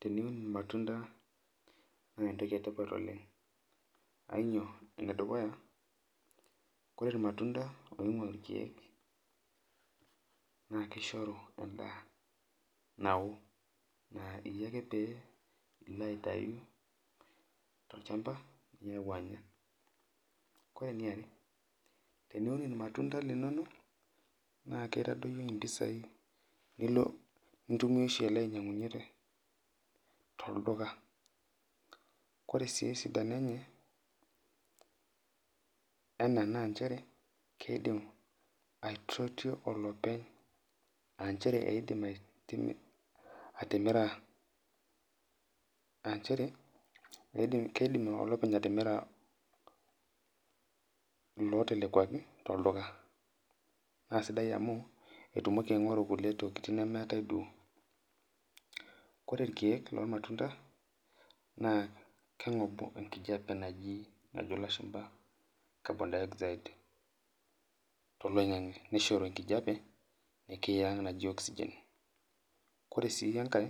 Teniun lmatunda naa entoki etipata oleng ainyoo, nedukuya kore lmatunda oing'ua olkiek naa keisharu endaa nauwo, naa iye ake pilo aitawu te lchamba nilo anya, kore ne are teniun lmatunda linono naa keitadoiyo empisai nilo nintumiya oshi ainyang'unye te olduka, kore sii sidano enye naa inchere keidim aitutu olopeny aa inchere eidim atimira lootelekuaki to lduka naa esidai amu etumoki aing'oru nkule nemeatai duo ,kore ilkiek loolmatunda naaa keng'obu enkijepe najo lashumba carbon dioxide te loing'ang'e neisharu enkijepe nikiyang' najii oxygen kore sii enkae